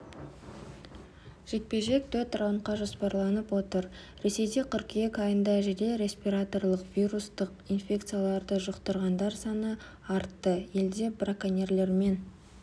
жекпе-жек төрт раундқа жоспарланып отыр ресейде қыркүйек айында жедел респираторлық-вирустық инфекцияларды жұқтырғандар саны артты елде браконьерлермен